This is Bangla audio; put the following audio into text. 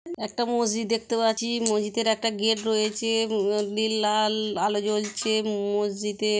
একটা মসজিদ দেখতে পাচ্ছি। মসজিদের একটা গেট রয়েছে। লাল আলো জ্বলছে। ম-মসজিদে--